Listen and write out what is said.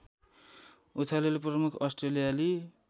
उछालले प्रमुख अस्ट्रेलियाली